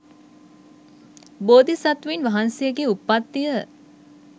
බෝධිසත්වයින් වහන්සේගේ උත්පත්තිය